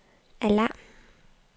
alarm